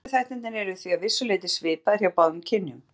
Áhættuþættirnir eru því að vissu leyti svipaðir hjá báðum kynjum.